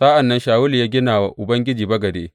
Sa’an nan Shawulu ya gina wa Ubangiji bagade.